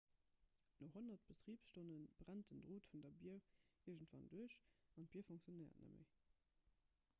no honnerte betribsstonne brennt den drot vun der bier iergendwann duerch an d'bier funktionéiert net méi